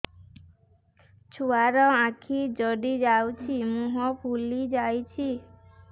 ଛୁଆର ଆଖି ଜଡ଼ି ଯାଉଛି ମୁହଁ ଫୁଲି ଯାଇଛି